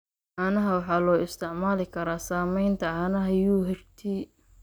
Caanaha waxaa loo isticmaali karaa samaynta caanaha UHT.